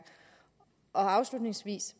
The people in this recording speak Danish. afslutningsvis